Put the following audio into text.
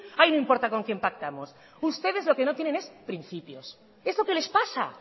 ahí no importa con quién pactamos ustedes lo que no tienen es principios es lo que les pasa